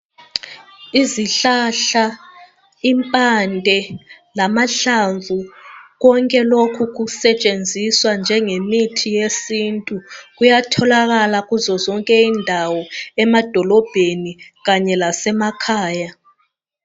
Izihlahla, impande lamahlamvu , konke lokhu kusetshenzwa njengemithi yesintu. Kuyatholakala kuzozonke indawo, emadolobheni kanye lasemakhaya.